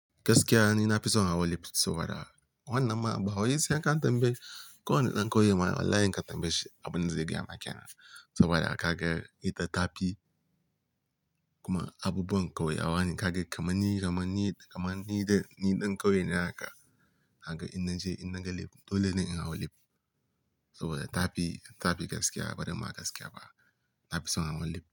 Gaskiya ni na fi so in hawa lift saboda wannan ma, ba wai sai an ka tambayi, ko wanna ɗan ƙauye ma wallahi in ka tambaye shi, abun da zai gaya ma kenan. Saboda ka ga ita ta fi kuma abubuwan kauyawa ne ka ga kamar ni, kamar ni, kamar ni da ni ɗan kauye naka, ka ga in na je in na ga lift. Dole ne in hau lift saboda tafi, tafi gaskiya bari ma gaskiya ba, na fi so in hawan lift.